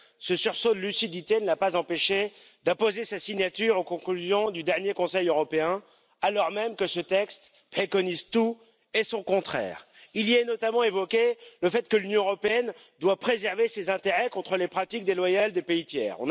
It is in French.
Ce sursaut de lucidité ne l'a pas empêché d'apposer sa signature aux conclusions du dernier Conseil européen, alors même que ce texte préconise tout et son contraire. Il y est notamment évoqué le fait que l'Union européenne doit préserver ses intérêts contre les pratiques déloyales des pays tiers.